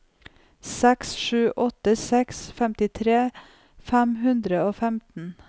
seks sju åtte seks femtitre fem hundre og femten